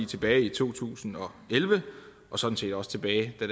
tilbage i to tusind og elleve og sådan set også tilbage da